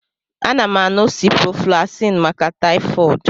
A na m aṅụ ciprofloxacin maka taifod